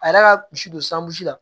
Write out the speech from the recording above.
A yɛrɛ ka misi don sanbusi la